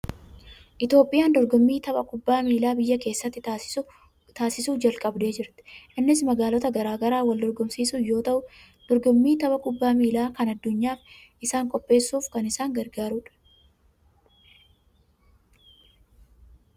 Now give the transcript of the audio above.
Itoophiyaan dorgommii tapha kubbaa miilaa biyya keessatti taasisuu jalqabdee jirti. Innis magaalota garaa garaa wal dorgomsiisuun yoo ta'u, dorgommii tapha kubbaa miilaa kan addunyaaf isaan qopheessuuf kan isaan gargaaru dha.